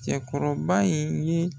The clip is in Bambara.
Cɛkɔrɔba in ye